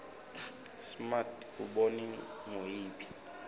smart kunobe nguyiphi